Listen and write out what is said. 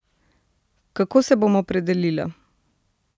Kako se bom opredelila?